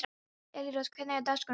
Elírós, hvernig er dagskráin í dag?